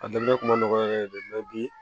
A daminɛ kun ma nɔgɔ yɛrɛ de bi